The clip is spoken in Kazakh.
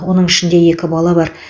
оның ішінде екі бала бар